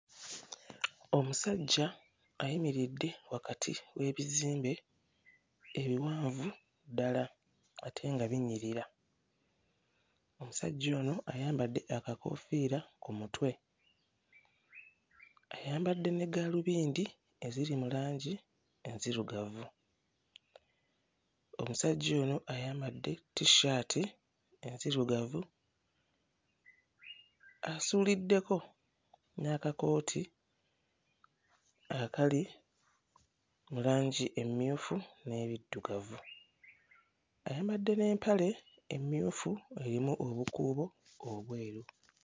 Omusajja ayimiridde wakati w'ebizimbe ebiwanvu ddala ate nga binyirira. Omusajja ono ayambadde akakoofiira mu mutwe, ayambadde ne gaalubindi eziri mu langi enzirugavu. Omusajja ono ayambadde tissaati enzirugavu, asuuliddeko n'akakooti akali mu langi emmyufu n'ebiddugavu, ayambadde n'empale emmyufu erimu obukuubo obweru.